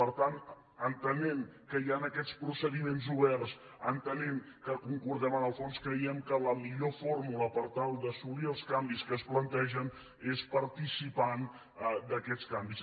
per tant entenent que hi han aquests procediments oberts entenent que concordem en el fons creiem que la millor forma per tal d’assolir els canvis que es plantegen és participant d’aquests canvis